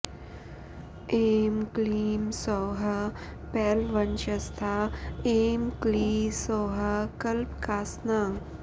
ऐं क्लीं सौः पैलवंशस्था ऐं क्लीं सौः कल्पकासना